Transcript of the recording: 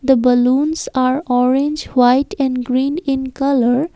The balloons are orange white and green in colour.